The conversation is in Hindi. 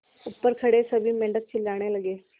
ऊपर खड़े सभी मेढक चिल्लाने लगे